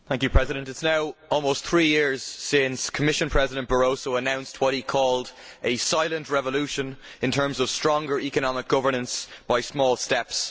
Madam President, it is now almost three years since Commission President Barroso announced what he called a silent revolution in terms of stronger economic governance by small steps.